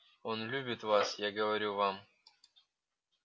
он любит вас я говорю вам